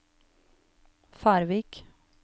Færvik